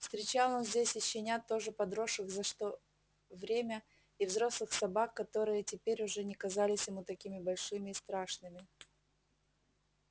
встречал он здесь и щенят тоже подросших за что время и взрослых собак которые теперь уже не казались ему такими большими и страшными